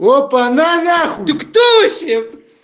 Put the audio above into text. опана на на хуй ты кто вообще